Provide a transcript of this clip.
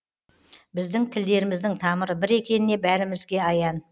біздің тілдеріміздің тамыры бір екеніне бәрімізге аян